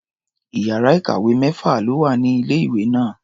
Iyàrá ìkàwé mẹ́fà ló wà ní ilé-ìwé náà.